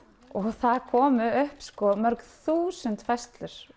það komu upp mörg þúsund færslur